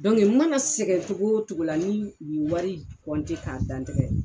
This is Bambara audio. n mana sɛgɛn cogo o cogo la ni u ye wari k'a da n tɛgɛ